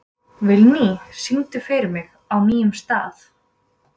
Vilný, syngdu fyrir mig „Á nýjum stað“.